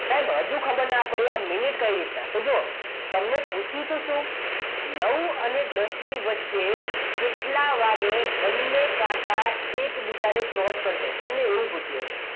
સાહેબ હજુ ખબર ના પડી આ મિનિટ કઈ રીતના? તો જુઓ તમને પૂછ્યું તો શું નાઉ અને દસ ની વચ્ચે કેટલા વાગે બંને કાંટા એકબીજાને cross કરશે એવું પૂછ્યું હતું